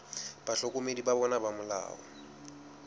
bahlokomedi ba bona ba molao